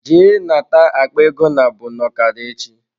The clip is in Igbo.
Jee nata akpa ego nabụ n'okara echi.